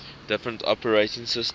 different operating systems